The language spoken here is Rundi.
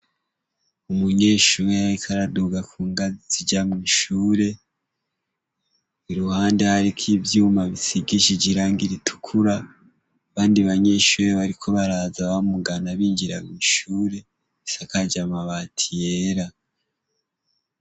Umunyeshure yariko araduga ku ngazi ija mw'ishure i ruhande hariko ivyuma bisigishije irangi ritukura abandi banyenshure bariko baraza bamugana binjira mw'ishure isakaje amabati yera.